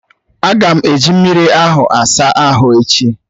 A ga m eji mmiri ahụ asa ahụ echi.